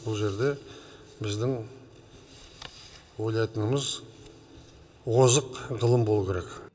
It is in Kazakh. бұл жерде біздің ойлатынымыз озық ғылым болу керек